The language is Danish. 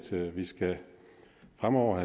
fremover